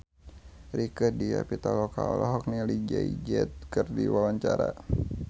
Rieke Diah Pitaloka olohok ningali Jay Z keur diwawancara